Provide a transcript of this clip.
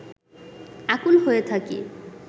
আকুল হয়ে থাকি